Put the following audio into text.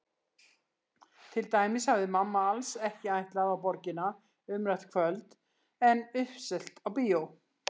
Til dæmis hafði mamma alls ekki ætlað á Borgina umrætt kvöld en uppselt á bíó.